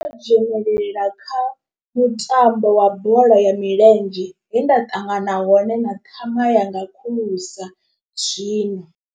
Dzhenelela kha mutambo wa bola ya milenzhe he nda ṱangana hone na ṱhama yanga khulusa zwino.